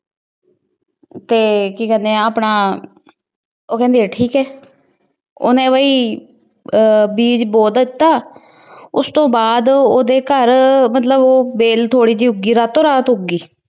ਤੇ ਕੀ ਕਹਿੰਦੇ ਆ ਆਪਣਾ ਉਹ ਕਹਿੰਦੀ ਠੀਕ ਐ। ਉਹਨੇ ਬਾਈ ਅਹ ਬੀਜ ਬੋ ਦਿੱਤਾ ਉਸ ਤੂੰ ਬਾਅਦ ਉਹਦੇ ਘਰ ਮਤਲਬ ਵੇਲ ਥੋੜੀ ਜਿਹੀ ਉੱਘੀ ਰਾਤੋ ਰਾਤ ਉੱਘ ਗਈ ।